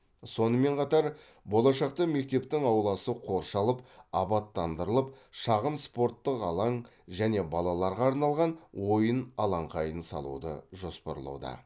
сонымен қатар болашақта мектептің ауласы қоршалып абаттандырылып шағын спорттық алаң және балаларға арналған ойын алаңқайын салуды жоспарлауда